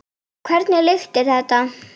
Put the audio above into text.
Hvernig lykt er þetta?